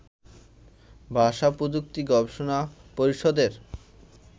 ভাষা-প্রযুক্তি গবেষণা পরিষদের